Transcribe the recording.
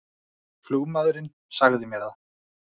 Flugmaðurinn sagði mér það